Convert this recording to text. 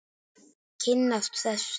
Kynnast þessu.